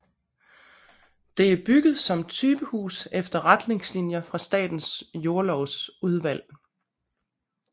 Det er bygget som typehus efter retningslinjer fra Statens Jordlovsudvalg